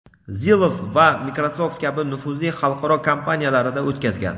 Zillow va Microsoft kabi nufuzli xalqaro kompaniyalarida o‘tkazgan.